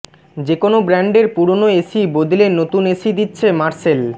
যেকোনো ব্র্যান্ডের পুরনো এসি বদলে নতুন এসি দিচ্ছে মার্সেল